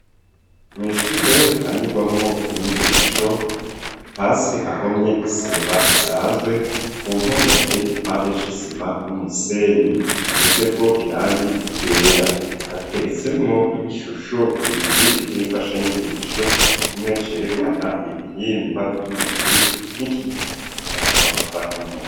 Mwishure hatangirwamwo inyigisho hasi hahomye isima isanzwe ku mpome ateye igipande c'isima n'umusenyi size ko irangi ryera hateretse mo ibishusho bibiri cy'imfasha nyigisho kimwe cerekana ibihimba by'umubiri n'ikierekana amagufa y'umuntu.